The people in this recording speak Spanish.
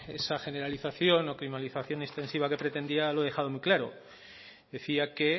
esa generalización o extensiva que pretendía lo he dejado muy claro decía que